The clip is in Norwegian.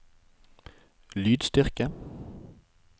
lydstyrke